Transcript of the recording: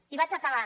i vaig acabant